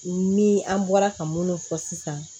Ni an bɔra ka minnu fɔ sisan